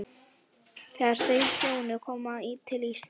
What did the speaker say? Þegar þau hjónin koma til Íslands